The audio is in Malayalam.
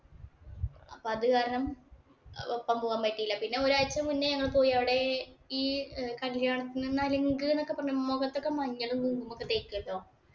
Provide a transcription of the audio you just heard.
അപ്പൊ അത് കാരണം ഒപ്പം പോകാൻ പറ്റില്ല. പിന്നെ ഒരാഴ്ച മുന്നേ ഞങ്ങ, ള്‍ പോയി. അവിടെ കല്യാണത്തിനു നലുങ്ക് എന്നൊക്കെ പറഞ്ഞ് മുഖത്തൊക്കെ മഞ്ഞളും, കുങ്കുമവും ഒക്കെ തേക്കൂലോ.